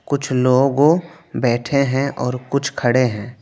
कुछ लोगों बैठे हैं और कुछ खड़े हैं।